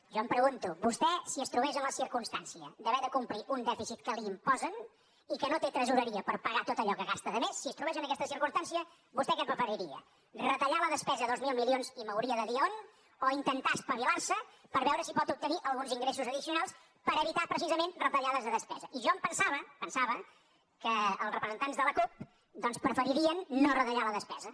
jo em pregunto vostè si es trobés en la circumstància d’haver de complir un dèficit que li imposen i que no té tresoreria per pagar tot allò que gasta de més si es trobés en aquesta circumstància vostè què preferiria retallar la despesa dos mil milions i m’hauria de dir on o intentar espavilar se per veure si pot obtenir alguns ingressos addicionals per evitar precisament retallades de despesa i jo em pensava m’ho pensava que els representants de la cup preferirien no retallar la despesa